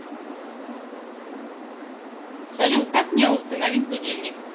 салют как мне установить будильник